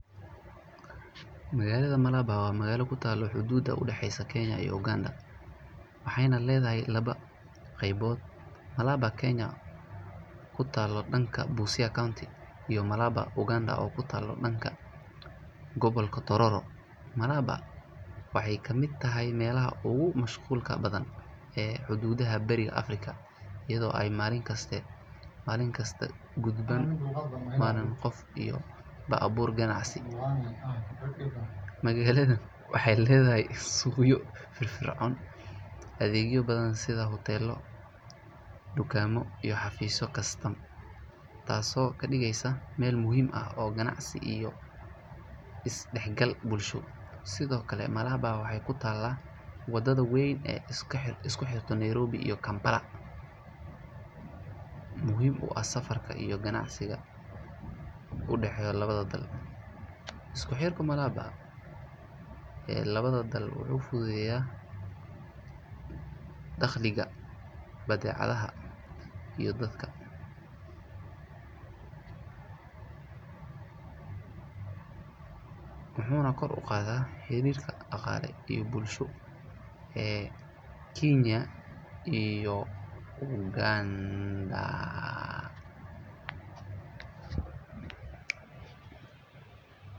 Magalada Malaba wa magala kutaalo xududa u daxeysa kenya iyo Uganda. waxayna leedahay laba qeybood Malaba Kenya kutaalo danka Busia county iyo Malaba Uganda oo kutaalo danka gobolka Tororo. Malabar waxay ka mid tahay meelaha ogu mashquulka badhan ee xududaha beriga Africa iyadoo aay Malin kaste Malin kista gudban badan qof iyo la abuur ganacsi .Magaladan waxay leedahay suuqyo fifircon adhegyo badhan sitha hutelo, dukaamo iyo xafiiso kastam taasoo kadigeysaa meel muhim ah oo ganacsi iyo is daxgal bulsho. sidhokale Malaba waxay kutaala wadadha weeyn ee iskaxir iskuxirto Nairobi iyo Kampala muhim u ah safarka iyo ganacsiga udaxeeyo lawadha dal. Isku xirka Malaba ee lawadha dal ufudhudeya dakhliga badecadaha iyo dadka. Wuxuuna kor uqaadha xiriirka daqaale iyo bulsho ee Kenya iyo Ugandaa.